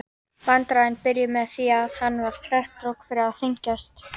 Vandræðin byrjuðu með því að hann þvertók fyrir að þyngjast.